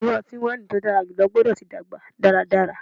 Iru ọti-waini ti o dara julọ gbọdọ ti dagba daradara